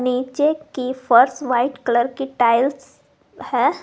नीचे की फर्श व्हाइट कलर की टाइल्स है।